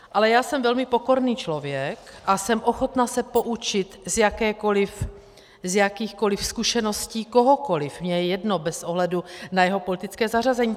Ale já jsem velmi pokorný člověk a jsem ochotna se poučit z jakýchkoliv zkušeností kohokoliv, mně je jedno bez ohledu na jeho politické zařazení.